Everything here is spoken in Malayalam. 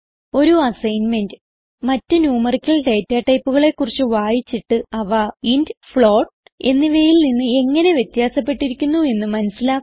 ഒരു അസ്സൈന്മെന്റ് മറ്റ് ന്യൂമറിക്കൽ ഡേറ്റ ടൈപ്പുകളെ കുറിച്ച് വായിച്ചിട്ട് അവ ഇന്റ് ഫ്ലോട്ട് എന്നിവയിൽ നിന്ന് എങ്ങനെ വ്യത്യാസപ്പെട്ടിരിക്കുന്നു എന്ന് മനസിലാക്കുക